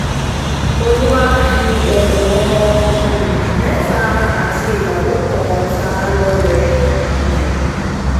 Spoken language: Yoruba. olúwa fi ẹ̀bùn ọmọ um mẹ́ta àti ìyàwó kan ta á á lọ́rẹ um